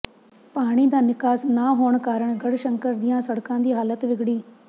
ਪਾਣੀ ਦਾ ਨਿਕਾਸ ਨਾ ਹੋਣ ਕਾਰਨ ਗੜ੍ਹਸ਼ੰਕਰ ਦੀਆਂ ਸੜਕਾਂ ਦੀ ਹਾਲਤ ਵਿਗੜੀ